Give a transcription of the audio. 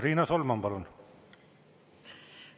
Riina Solman, palun!